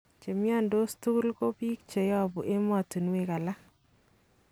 Chemiondos tugul ko bik cheyobu emotunwek alak.